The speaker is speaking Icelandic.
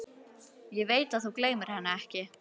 Ég veit að þú gleymir henni ekki.